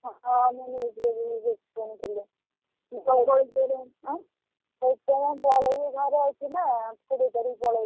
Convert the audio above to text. ହଁ ମୁଁ news ରେ ବି ଶୁଣିଥିଲି ପଳେଇମି ଘରେ ଅଛି ନା କୋଡିଏ ତାରିଖ ପଳେଇବି।